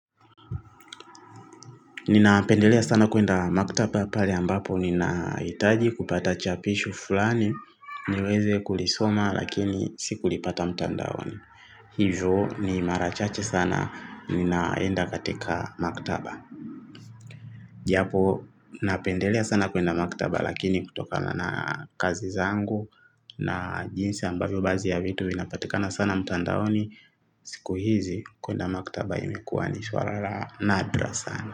Ninapendelea sana kwenda maktaba pale ambapo ninahitaji kupata chapisho fulani, niweze kulisoma lakini sikulipata mtandaoni. Hivyo ni mara chache sana, ninaenda katika maktaba. Japo, napendelea sana kwenda maktaba lakini kutokana na kazi zangu na jinsi ambavyo basi vitu vinapatikana sana mtandaoni, siku hizi kwenda maktaba imekua ni swala la nadra sana.